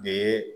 De ye